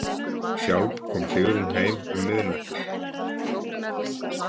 Sjálf kom Sigrún heim um miðnættið.